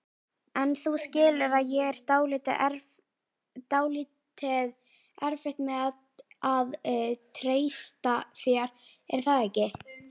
En þú skilur að ég á dálítið erfitt með að treysta þér, er það ekki?